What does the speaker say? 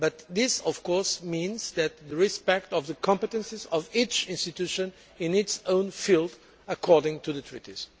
This, of course, means respecting the competences of each institution in its own field according to the treaties.